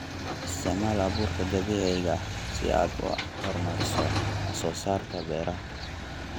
Isticmaal abuurka dabiiciga ah si aad u horumariso wax soo saarka beeraha.